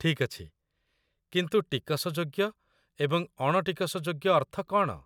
ଠିକ୍ ଅଛି, କିନ୍ତୁ 'ଟିକସଯୋଗ୍ୟ' ଏବଂ 'ଅଣ ଟିକସଯୋଗ୍ୟ' ଅର୍ଥ କଣ?